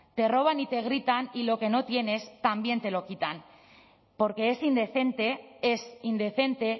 te roban y te gritan y lo que no tienes también te lo quitan porque es indecente es indecente